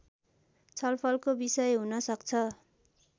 छलफलको विषय हुन सक्छ